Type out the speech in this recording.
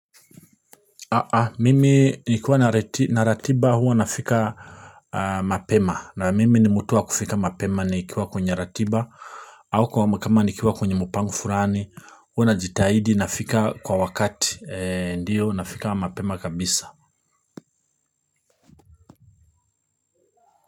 Mimi nikiwa na ratiba huwa nafika mapema na mimi ni mtu wa kufika mapema nikiwa kwenye ratiba au kwangu kama nikiwa kwenye mpango fulani huwa najitahidi nafika kwa wakati ndio nafika mapema kabisa.